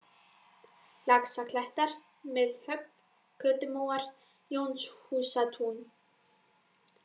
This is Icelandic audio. Laxaklettar, Miðhögg, Götumóar, Jónshúsatún